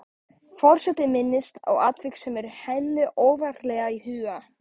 Forseti minnist á atvik sem er henni ofarlega í huga.